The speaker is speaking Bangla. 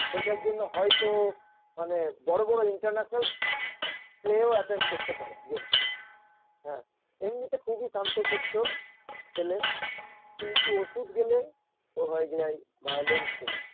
সেইটার জন্য হয়তো মানে বড় বড় international play -ও attend করতে পারে game হ্যাঁ এমনিতে খুব শান্তশিষ্ট ছেলে কিন্তু ওষুধ গেলে ও হয়ে যায় violent ছেলে